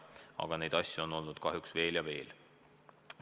Aga neid asju on olnud kahjuks veel ja veel.